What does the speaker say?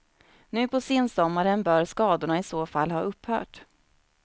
Nu på sensommaren bör skadorna i så fall ha upphört.